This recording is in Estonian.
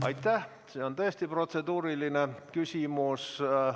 Aitäh, see on tõesti protseduuriline küsimus!